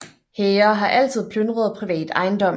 Hære har altid plyndret privat ejendom